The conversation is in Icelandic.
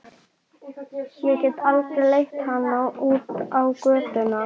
Ég get aldrei leitt hana út á götuna.